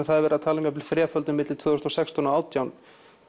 það er verið að tala um jafnvel þreföldun milli tvö þúsund og sextán og átján